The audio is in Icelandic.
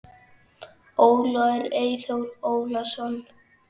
Ólafur Eyþór Ólason.